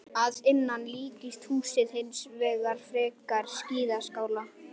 Að innan líkist húsið hins vegar frekar skíðaskála.